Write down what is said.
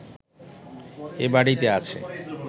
এ বাড়িতে আছে